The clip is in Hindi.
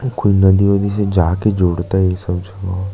कोई नदी वदी से जाके जोड़ता है ये सब --